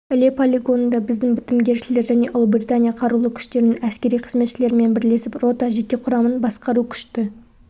іле полигонында біздің бітімгершілер және ұлыбритания қарулы күштерінің әскери қызметшілерімен бірлесіп рота жеке құрамын басқару күшті